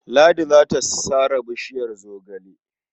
Ladi za ta sare bishiyar zogale..